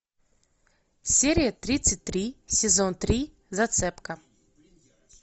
серия тридцать три сезон три зацепка